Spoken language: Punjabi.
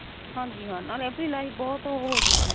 ਹਾਂਜੀ ਹਾਂ ਨਾਲੇ ਆਪਣੀ life ਬਹੁਤ ਉਹ ਹੋਜੇਗੀ